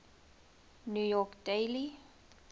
new york daily